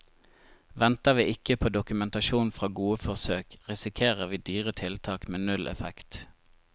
Venter vi ikke på dokumentasjon fra gode forsøk, risikerer vi dyre tiltak med null effekt.